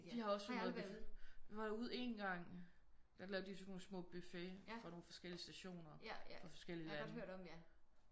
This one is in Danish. Der har også sådan noget vi var derude én gang der lavede de sådan nogle små buffet fra nogen forskellige stationer fra forskellige lande